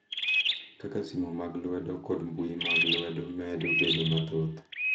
Kaka simu mag lwedo kod mbui mag lwedo medo bedo mathoth.